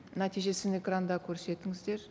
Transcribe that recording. нәтижесін экранда көрсетіңіздер